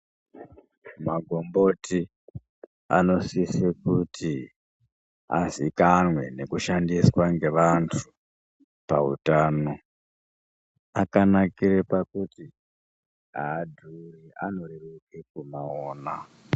Magomboti anosise kuti azikanwe nokushandiswa ngevanthu pautano. Akanakire kuti aadhuri anoreruka kumaona.